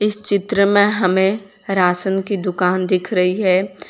इस चित्र में हमें राशन की दुकान दिख रही है।